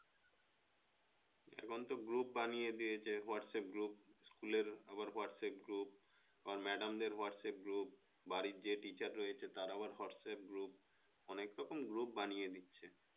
এখনতো group বানিয়ে দিয়েছে WhatsApp group school এর আবার WhatsApp group আবার madam দের WhatsApp group বাড়ির যে teacher রয়েছে তার আবার WhatsApp group অনেক রকম group বানিয়ে দিচ্ছে